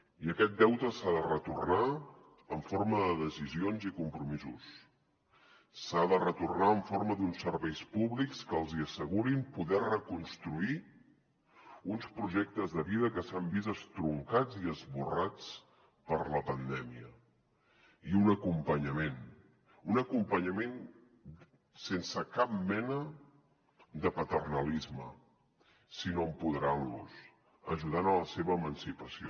i aquest deute s’ha de retornar en forma de decisions i compromisos s’ha de retornar en forma d’uns serveis públics que els hi assegurin poder reconstruir uns projectes de vida que s’han vist estroncats i esborrats per la pandèmia i un acompanyament un acompanyament sense cap mena de paternalisme sinó empoderant los ajudant los a la seva emancipació